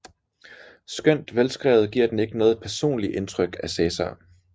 Skønt velskrevet giver den ikke noget personligt indtryk af Cæsar